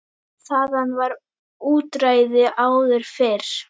Þaðan var útræði áður fyrr.